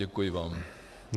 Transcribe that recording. Děkuji vám.